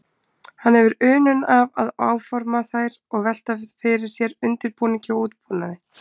Hann hefur unun af að áforma þær og velta fyrir sér undirbúningi og útbúnaði.